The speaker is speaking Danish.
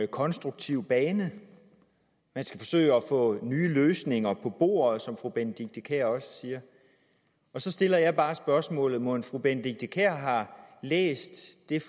konstruktiv bane man skal forsøge at få nye løsninger på bordet som fru benedikte kiær også siger så stiller jeg bare spørgsmålet mon fru benedikte kiær har læst den